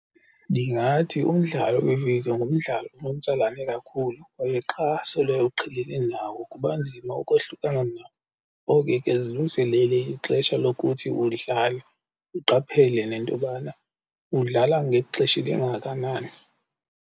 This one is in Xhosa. Ndingathi umdlalo wevidiyo ngumdlalo onomtsalane kakhulu kwaye xa sele uqhelene nawo kuba nzima ukohlukana nako. Ngoko ke zilungiselele ixesha lokuthi uwudlale uqaphele nentobana uwudlala ngexesha elingakanani.